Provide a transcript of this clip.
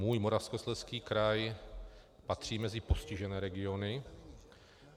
Můj Moravskoslezský kraj patří mezi postižené regiony.